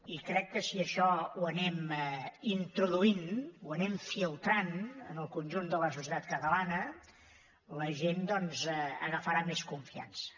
i crec que si això ho anem introduint ho anem filtrant en el conjunt de la societat catalana la gent doncs agafarà més confiança